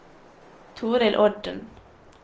Torill Odden